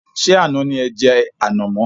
Ṣé àná ni e jẹ ànàmọ́?